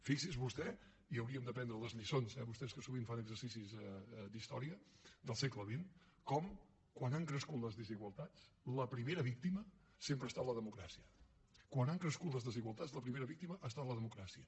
fixi’s vostè i hauríem d’aprendre les lliçons eh vostès que sovint fan exercicis d’història del segle vint com quan han crescut les desigualtats la primera víctima sempre ha estat la democràcia quan han crescut les desigualtats la primera víctima ha estat la democràcia